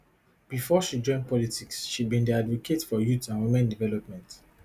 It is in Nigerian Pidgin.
bifor she join politics she bin dey advocate for youth and women development